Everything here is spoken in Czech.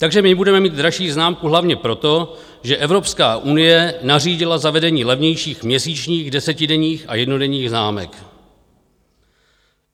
Takže my budeme mít dražší známku hlavně proto, že Evropská unie nařídila zavedení levnějších měsíčních, desetidenních a jednodenních známek.